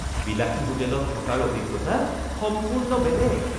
বিলাসী হোটেলত থকাৰ অভিজ্ঞতা সম্পূৰ্ণ বেলেগ